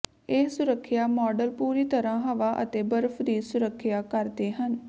ਇਹ ਸੁਰੱਖਿਆ ਮਾਡਲ ਪੂਰੀ ਤਰ੍ਹਾਂ ਹਵਾ ਅਤੇ ਬਰਫ ਦੀ ਸੁਰੱਖਿਆ ਕਰਦੇ ਹਨ